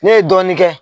Ne ye dɔɔnin kɛ